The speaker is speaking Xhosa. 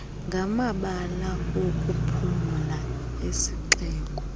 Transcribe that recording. ngamabala okuphumla esixeko